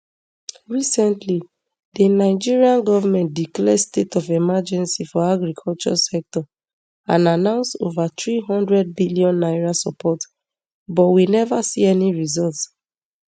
recently di nigerian goment declare state of emergency for agriculture sector and announce over three hundred billion naira support but we never see any results